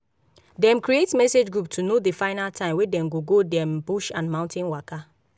dem create message group to know the final time wey dem go go their bush and mountain waka